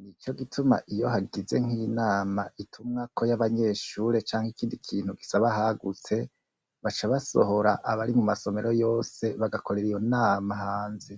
,n'ico gituma iyo hagize nk'inama ituma ko y'abanyeshure canke ikindi kintu gisaba ahagutse, baca basohora abari mumasomero yose bagakorera iyo nama hanze.